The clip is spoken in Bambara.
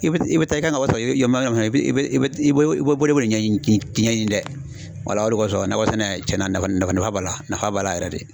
I bɛ taa i bɛ taa i ka nakɔ sɔrɔ i bɛ yamaruya i bɛ i bɛ bolokoli ɲɛɲini ɲɛɲini dɛ wala o de kɔsɔn nakɔ sɛnɛ tiɲɛna nafa nafa b'a la nafa b'a la yɛrɛ de